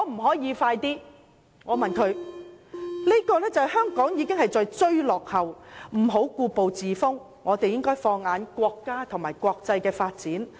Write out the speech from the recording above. "在這方面，香港要追落後，別再故步自封，並應放眼國家和國際間的發展。